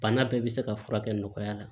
Bana bɛɛ bɛ se ka furakɛ nɔgɔya la